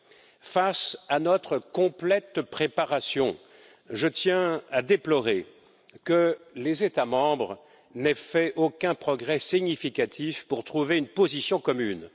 Eu égard à notre complète préparation, je tiens à déplorer que les États membres n'aient fait aucun progrès significatif pour trouver une position commune.